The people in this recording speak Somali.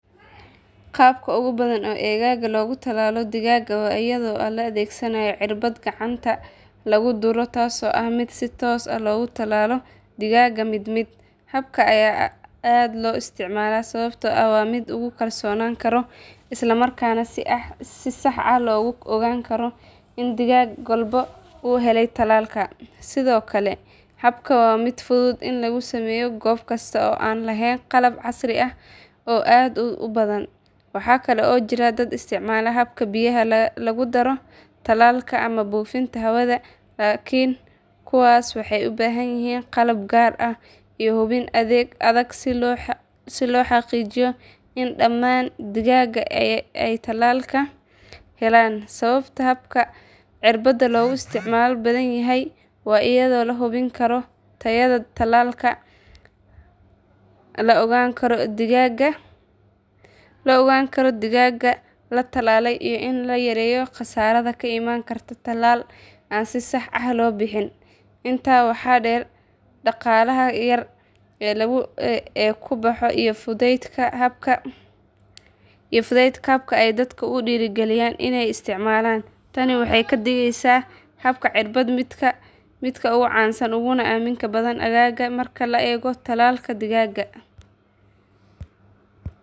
Qaabka ugu badan ee aaggaaga looga talaalo digaaga waa iyadoo la adeegsado cirbad gacanta lagu duro taasoo ah mid si toos ah loogu talaalo digaaga mid mid. Habkan ayaa aad loo isticmaalaa sababtoo ah waa mid lagu kalsoonaan karo islamarkaana si sax ah loogu ogaan karo in digaag walba uu helay tallaalka. Sidoo kale habkan waa mid fudud in lagu sameeyo goob kasta oo aan lahayn qalab casri ah oo aad u badan. Waxaa kale oo jira dad isticmaala habka biyaha lagu daro tallaalka ama buufinta hawada laakiin kuwaasi waxay u baahan yihiin qalab gaar ah iyo hubin adag si loo xaqiijiyo in dhammaan digaagga ay tallaalka helaan. Sababta habka cirbadda loogu isticmaal badan yahay waa iyadoo la hubin karo tayada tallaalka, la ogaan karo digaagga la tallaalay iyo in la yareeyo khasaaraha ka iman kara tallaal aan si sax ah loo bixin. Intaa waxaa dheer dhaqaalaha yar ee ku baxa iyo fudaydka habka ayaa dadka ku dhiirrigeliya inay isticmaalaan. Tani waxay ka dhigeysaa habka cirbadda midka ugu caansan uguna aaminka badan aaggaaga marka la eego tallaalka digaagga.